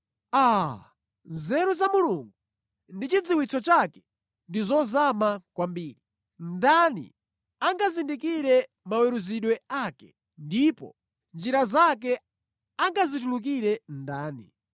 Aa! Nzeru za Mulungu ndi chidziwitso chake ndi zozama kwambiri! Ndani angazindikire maweruzidwe ake, ndipo njira zake angazitulukire ndani?